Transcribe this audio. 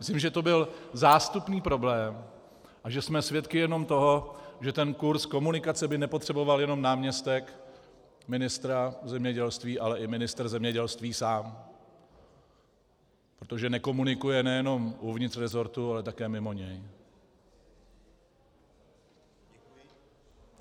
Myslím, že to byl zástupný problém a že jsme svědky jenom toho, že ten kurs komunikace by nepotřeboval jenom náměstek ministra zemědělství, ale i ministr zemědělství sám, protože nekomunikuje nejenom uvnitř resortu, ale také mimo něj.